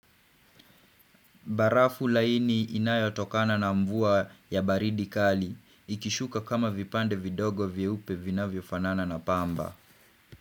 Barafu laini inayotokana na mvua ya baridi kali, ikishuka kama vipande vidogo vye upe vinavyo fanana na pamba.